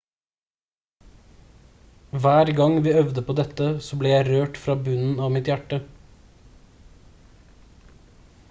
hver gang vi øvde på dette så ble jeg rørt fra bunnen av mitt hjerte